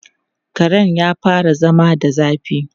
Karen ya fara zama da zafi.